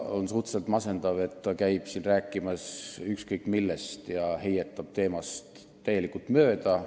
On suhteliselt masendav, et ta käib siin rääkimas ükskõik millest ja heietab teemast täielikult mööda.